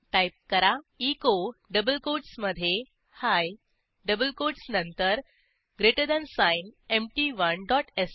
type करा एचो double कोटसमधे ही डबल कोटसनंतर greater than sign empty one dot श